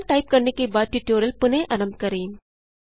programme type करने के बाद ट्यूटोरियल पुनः आरंभ करें